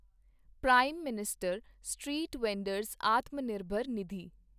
prime minister street vendor's Atmanirbhar Nidhi